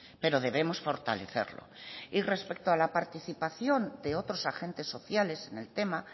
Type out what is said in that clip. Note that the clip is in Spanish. pero debemos fortalecerlo y respecto a la participación de otros agentes sociales en el tema